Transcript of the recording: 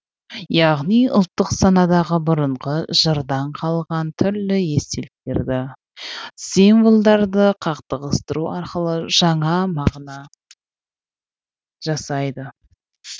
яғни ұлттық санадағы бұрынғы жырдан қалған түрлі естеліктерді символдарды қақтығыстыру арқылы жаңа мағына жасайды